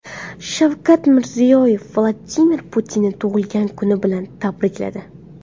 Shavkat Mirziyoyev Vladimir Putinni tug‘ilgan kuni bilan tabrikladi.